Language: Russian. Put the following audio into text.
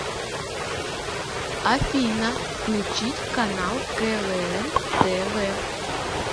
афина включить канал квн тв